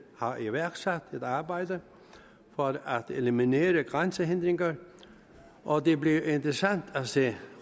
har iværksat et arbejde for at eliminere grænsehindringer og det bliver interessant at se